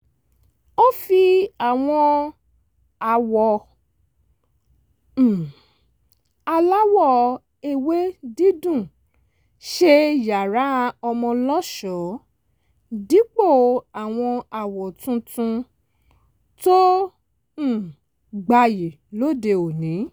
ó fi àwọn àwọ̀ um aláwọ̀ ewé dídùn ṣe yàrá ọmọ lọ́ṣọ̀ọ́ dípò àwọn àwọ̀ tuntun tó um gbayì lóde òní